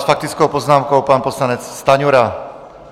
S faktickou poznámkou pan poslanec Stanjura.